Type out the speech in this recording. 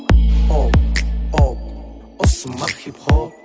о о осы ма хип хоп